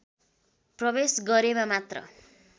प्रवेश गरेमा मात्र